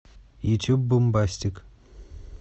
ютуб бумбастик